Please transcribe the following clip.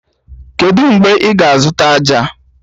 Kedụ mgbe ị ga-azụta ájá?